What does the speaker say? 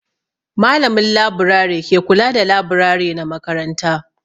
Malamin laburare ke kula da laburare na makaranta.